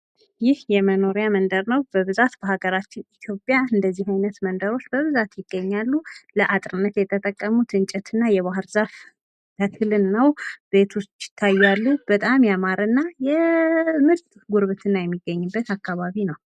ይህ የመኖሪያ መንደር ነው በብዛት በሀገራችን ኢትዮጵያ እንደዚህ አይነት መንደሮች በብዛት ይገኛሉ ለአጥርነት የተጠቀሙት እንጨት እና የባህር ዛፍ ተክልን ነው ቤቶች ይታያሉ በጣም ያማረና ምርጥ ጉርብትና የሚገኝበት አካባቢ ነው